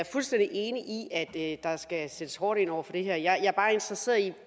fuldstændig enig i at der skal sættes hårdt ind over for det her jeg er bare interesseret i